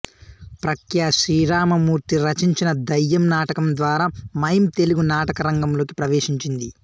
ప్రఖ్యా శ్రీరామమూర్తి రచించిన దయ్యం నాటకం ద్వారా మైమ్ తెలుగు నాటకరంగంలోకి ప్రవేశించింది